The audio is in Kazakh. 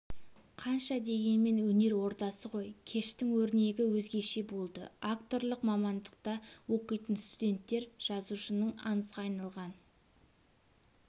қанша дегенмен өнер ордасы ғой кештің өрнегі өзгеше болды акторлық мамандықта оқитын студенттер жазуышың аңызға айналған